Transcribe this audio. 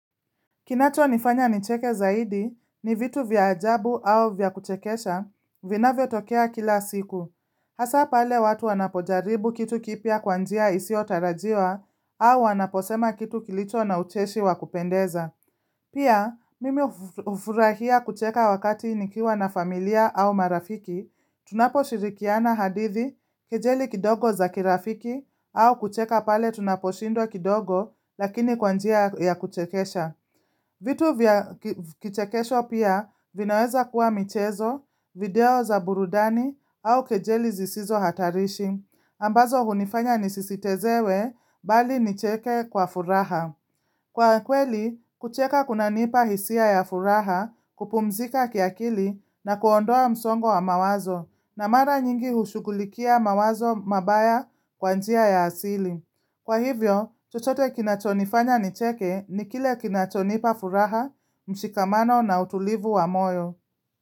Kinacho nifanya nicheke zaidi ni vitu vya ajabu au vya kuchekesha, vina vyo tokea kila siku. Hasa pale watu wanapojaribu kitu kipia kwanjia isi otarajiwa au wanaposema kitu kilicho na ucheshi wakupendeza. Pia, mimi ufurahia kucheka wakati nikiwa na familia au marafiki, tunapo shirikiana hadithi kejeli kidogo za kirafiki au kucheka pale tunaposhindwa kidogo lakini kwanjia ya kuchekesha. Vitu vya kichekesho pia vinaweza kuwa michezo, video za burudani au kejeli zisizo hatarishi, ambazo hunifanya nisisitezewe bali nicheke kwa furaha. Kwa kweli, kucheka kuna nipa hisia ya furaha kupumzika kiakili na kuondoa msongo wa mawazo, na mara nyingi ushughulikia mawazo mabaya kwanjia ya asili. Kwa hivyo, chochote kinachonifanya nicheke ni kile kinachonipa furaha, mshikamano na utulivu wa moyo.